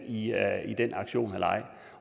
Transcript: ja